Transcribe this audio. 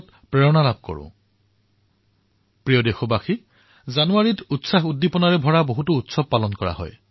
মোৰ মৰমৰ দেশবাসীসকল জানুৱাৰীত উৎসাহেৰে ভৰা বহুতো উৎসৱ উদযাপন কৰা হব